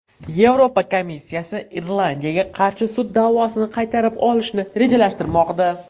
Yevropa komissiyasi Irlandiyaga qarshi sud da’vosini qaytarib olishni rejalashtirmoqda.